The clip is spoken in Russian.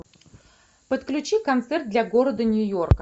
подключи концерт для города нью йорка